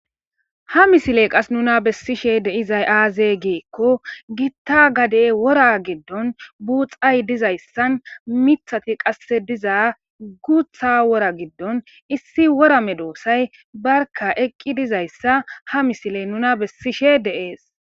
ha misiley qas nuna bessishe deizay aaze giekko gitta gadey wora giddon buuxay dizayssan mithati qasse diza guutha wora giddon issi worame doosay barka eqqi dizayssa ha misile nuna bessishe deees